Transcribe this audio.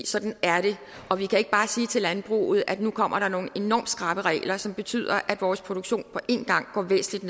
sådan er det og vi kan ikke bare sige til landbruget at nu kommer der nogle enormt skrappe regler som betyder at vores produktion på en gang går væsentligt